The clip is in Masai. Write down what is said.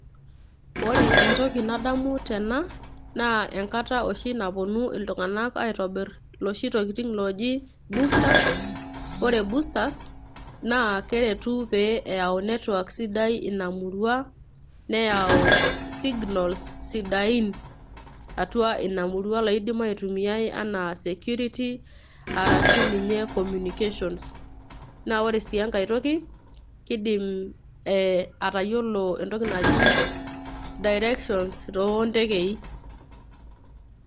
Ore entoki nadamu tena, naa enkata oshi napuonu iltung'ana aitobir ilooshi tokitin oji boosters. Ore boosters naa keretu pee eyau network sidai Ina murua , neyau signals sidain atua Ina murua laidim aitumiai anaa security arashu ninye communication. Naa ore sii enkai toki keidim atayiolou entoki naji direction too intekei.